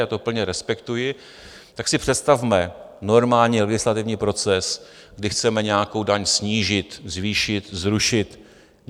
Já to plně respektuji, tak si představme normální legislativní proces, kdy chceme nějakou daň snížit, zvýšit, zrušit.